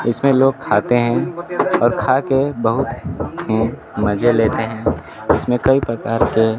इसमें लोग खाते हैं और खा के बहुत ही मजे लेते हैं इसमें कई प्रकार के --